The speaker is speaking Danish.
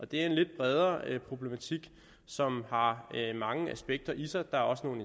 det er en lidt bredere problematik som har mange aspekter i sig der er også nogle